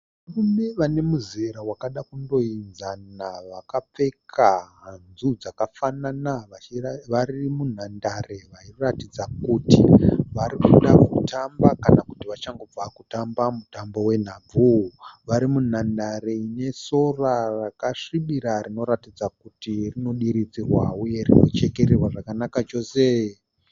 Varume vanemuzera wakada kundoenzana vakapfeka hanzu dzakafanana vari munhandare vairatidza kuti varikuda kutamba kanakuti vachangobva kutamba mutambo wenhabvu. Vari munhandare inesora rakasvibira rinoratidza kuti rinodiridzirwa uye rinochekererwa zvakanaka chose.